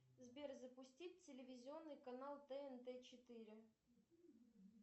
сбер запустить телевизионный канал тнт четыре